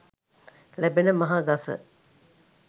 ලැබෙන මහ ගස